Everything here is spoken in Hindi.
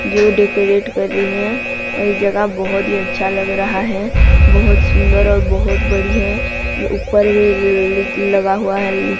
जो डेकोरेट कर रही हैं और जगह बहोत ही अच्छा लग रहा हैं बहुत सुंदर और बहुत बड़ी हैं ऊपर भी लगा हुआ हैं।